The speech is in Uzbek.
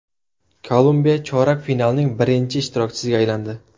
Kolumbiya chorak finalning birinchi ishtirokchisiga aylandi .